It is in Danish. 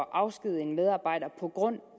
at afskedige en medarbejder på grund